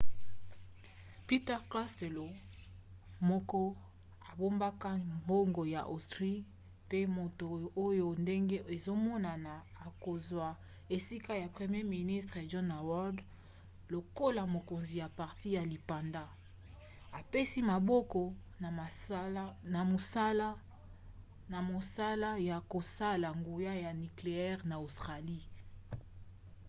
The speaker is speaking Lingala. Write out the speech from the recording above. peter costello moko abombaka mbongo ya austrie pe moto oyo ndenge ezomonana akozwa esika ya premier ministre john howard lokola mokonzi ya parti ya lipanda apesi maboko na mosala ya kosala nguya ya nikleyere na australie